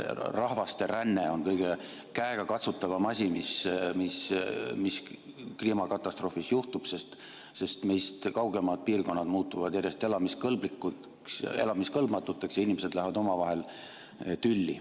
Rahvasteränne on kõige käegakatsutavam asi, mis kliimakatastroofis juhtub, sest meist kaugemad piirkonnad muutuvad järjest elamiskõlbmatuks ja inimesed lähevad omavahel tülli.